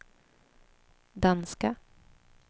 danska